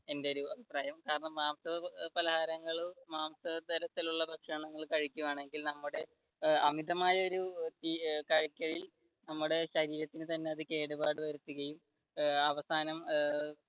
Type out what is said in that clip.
എന്റെ ഒരു കാരണം മാംസ പലഹാരങ്ങൾ മാംസ തരത്തിലുള്ള ഭക്ഷണങ്ങൾ കഴിക്കുകയാണെങ്കിൽ നമ്മുടെ അമിതമായൊരു കാഴ്ചയിൽ നമ്മുടെ ശരീരത്തിന് തന്നെ കേടുപാട് വരുത്തുകയും ഏർ അവസാനം ഏർ